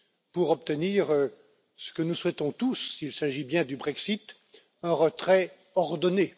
pour obtenir ce que nous souhaitons tous, s'il s'agit bien du Brexit, un retrait ordonné.